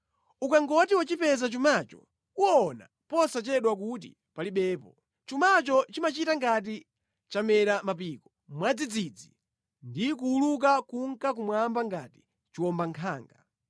Ukangoti wachipeza chumacho uwona posachedwa kuti palibepo. Chumacho chimachita ngati chamera mapiko mwadzidzidzi ndi kuwuluka kunka kumwamba ngati chiwombankhanga.